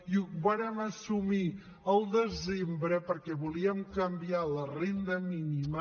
i ho vàrem assumir al desembre perquè volíem canviar la renda mínima